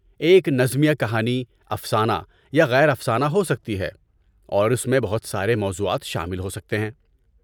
ایک نظمیہ کہانی افسانہ یا غیر افسانہ ہوسکتی ہے، اور اس میں بہت سارے موضوعات شامل ہوسکتے ہیں۔